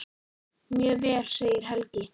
Mjög vel segir Helgi.